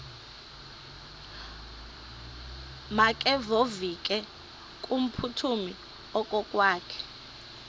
makevovike kumphuthumi okokwakhe